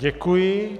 Děkuji.